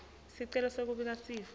sicelo sekubika sifo